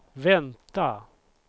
vänta